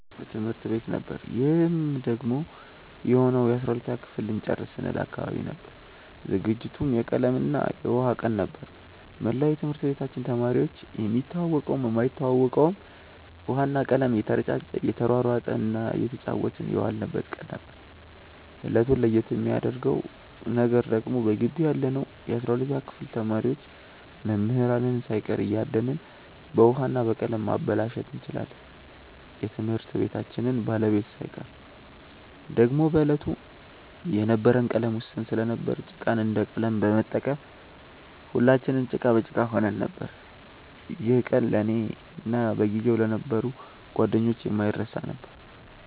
በትምህርት ቤት ነበር ይህም ደግሞ የሆነው የ12ተኛ ክፍል ልንጨርስ ስንል አካባቢ ነበር። ዝግጅቱም የቀለም እና የውሃ ቀን ነበር። መላው የትምህርት ቤታችን ተማሪዎች የሚተዋወቀውም የማይተዋወቀውም ውሃ እና ቀለም እየተረጫጨ እየተሯሯጠ እና እየተጫወትን የዋልንበት ቀን ነበር። እለቱን ለየት የሚያረገው ነገር ደግሞ በገባው ያለነው የ12ተኛ ክፍል ተማሪዎች መምህራንን ሳይቀር እያደንን በውሀ እና በቀለም ማበላሸት እንችላለን የትምህርት ቤታችንን ባለቤት ሳይቀር። ደግሞም በዕለቱ የነበረን ቀለም ውስን ስለነበር ጭቃን እንደ ቀለም በመጠቀም ሁለትንም ጭቃ በጭቃ ሆነን ነበር። ይህ ቀን ለእኔ እና በጊዜው ለነበሩ ጓደኞቼ የማይረሳ ነበር።